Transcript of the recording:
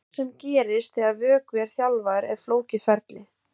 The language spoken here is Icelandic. Það sem gerist þegar vöðvi er þjálfaður er flókið ferli.